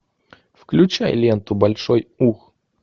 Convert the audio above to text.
включай ленту большой ух